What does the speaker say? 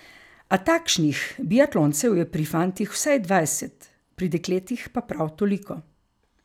A takšnih biatloncev je pri fantih vsaj dvajset, pri dekletih pa prav toliko.